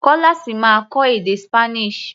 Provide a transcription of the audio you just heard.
Kọ́lá ṣì máa kọ́ èdè Spanish.